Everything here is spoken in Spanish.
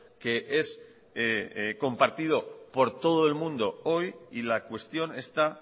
que es compartito por todo el mundo hoy y la cuestión está